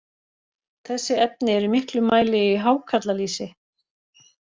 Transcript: Þessi efni eru í miklum mæli í hákarlalýsi.